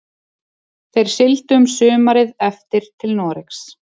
Þeir sigldu um sumarið eftir til Noregs.